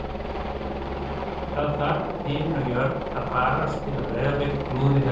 Það þarf himinn og jörð að farast til að Breiðablik klúðri þessu